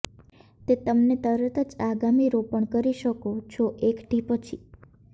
તે તમને તરત જ આગામી રોપણ કરી શકો છો એકઠી પછી